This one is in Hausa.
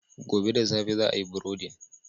Gobe da safe za a yi burodin.